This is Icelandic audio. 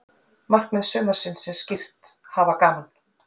Markmið sumarsins er skýrt: Hafa gaman.